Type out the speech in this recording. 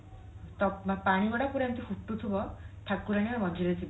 ତ ପାଣି ଗୁଡା ପୁରା ଏମତି ଫୁଟୁଥିବ ଠାକୁରାଣୀ ମଝିରେ ଥିବେ